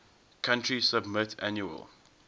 country submit annual